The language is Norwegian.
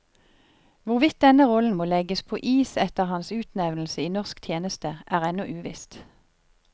Hvorvidt denne rollen må legges på is etter hans utnevnelse i norsk tjeneste, er ennå uvisst.